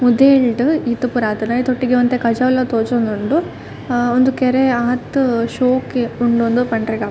ಮುದೆಲ್ಡ್ ಈತ್ ಪುರ ಆತುಂಡ್ ಐತ ಒಟ್ಟಿಗೆ ಒಂತೆ ಕಜವ್ಲ ತೋಜೊಂದುಂಡು ಅ ಉಂದು ಕೆರೆ ಆತ್ ಶೋಕು ಇಪ್ಪುಂಡು ಇಂದ್ ಪಂಡ್ರೆಗಾಪುಜಿ.